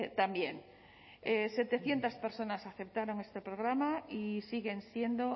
también setecientos personas aceptaron este programa y siguen siendo